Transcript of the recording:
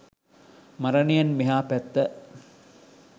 මරණයෙන් මෙහා පැත්ත